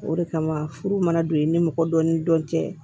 O de kama furu mana don i ni mɔgɔ dɔ ni dɔn tɛ